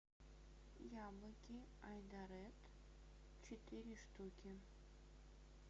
яблоки айдаред четыре штуки